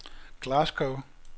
Glasgow